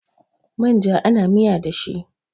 Manja ana miya da shi